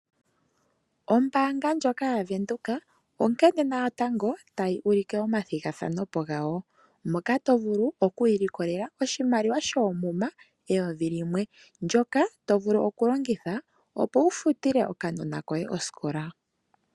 Ombaanga ndjoka yaVenduka onkene ngaa natango tayi ulike omathigathano gayo. Moka to vulu oku ilikolela oshimaliwa shoomuma eyovi limwe (N$ 1000), ndyoka to vulu okulongitha okufutila okanona koye osikola.